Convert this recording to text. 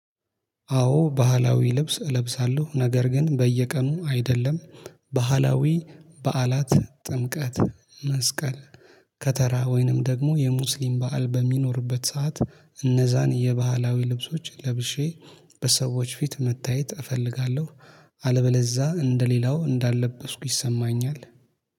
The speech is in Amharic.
አዎ ባህላዊ ልብስ እለብሳለሁ ነገር ግን በየቀኑ አይደለም። ባህላዊ በዓላት ጥምቀት መስቀል። ከተራ ወይንም ደግሞ የሙስሊም በዓል በሚኖርበት ሰዓት እነዛን የባህላዊ ልብሶች ለብሼ በሰዎች ፊት መታየት እፈልጋለሁ። አለበለዛ እንደሌላው እንዳለበስኩ ይሰማኛል